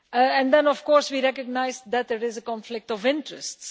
And then, of course, we recognise that there is a conflict of interests.